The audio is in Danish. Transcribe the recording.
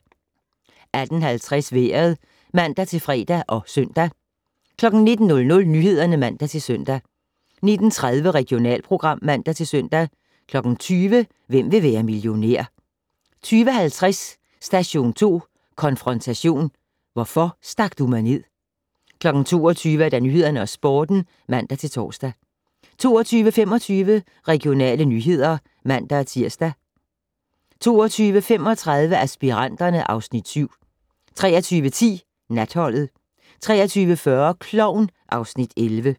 18:50: Vejret (man-fre og søn) 19:00: Nyhederne (man-søn) 19:30: Regionalprogram (man-søn) 20:00: Hvem vil være millionær? 20:50: Station 2: Konfrontation - hvorfor stak du mig ned? 22:00: Nyhederne og Sporten (man-tor) 22:25: Regionale nyheder (man-tir) 22:35: Aspiranterne (Afs. 7) 23:10: Natholdet 23:40: Klovn (Afs. 11)